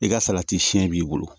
I ka salati siyɛn b'i bolo